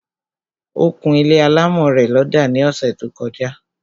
Ó kún ilé alámọ̀ rẹ̀ lọ́dà ní ọsẹ̀ tó; kọjá